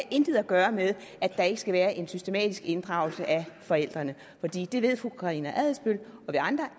intet at gøre med at der ikke skal være en systematisk inddragelse af forældrene for fru karina adsbøl og vi andre